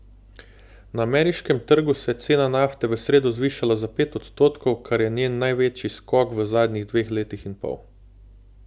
Na ameriškem trgu se je cena nafte v sredo zvišala za pet odstotkov, kar je njen največji skok v zadnjih dveh letih in pol.